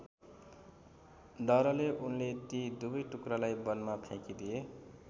डरले उनले ती दुवै टुक्रालाई वनमा फ्याँकिदिए।